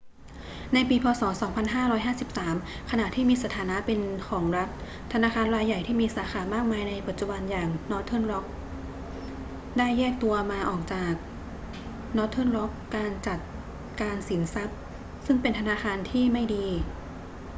ในปีพ.ศ. 2553 ขณะที่มีสถานะเป็นของรัฐ ธนาคารรายใหญ่ที่มีสาขามากมายในปัจจุบันอย่าง northern rock plc ได้แยกตัวมาออกจาก northern rock การจัดการสินทรัพย์ ซึ่งเป็น 'ธนาคารที่ไม่ดี'